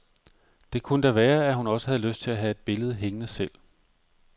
Det kunne da være, at hun også havde lyst til at have et billede hængende selv.